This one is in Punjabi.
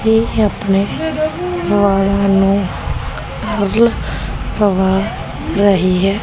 ਇਹ ਅਪਨੇ ਨਿਆਣਿਆ ਨੂੰ ਮੌਜੇ ਪਵਾ ਰਹੀ ਹੈ।